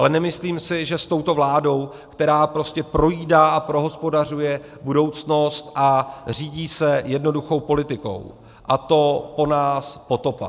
Ale nemyslím si, že s touto vládou, která prostě projídá a prohospodařuje budoucnost a řídí se jednoduchou politikou, a to po nás potopa.